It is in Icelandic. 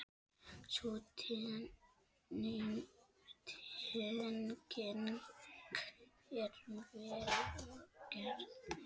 Sú tenging er vel gerð.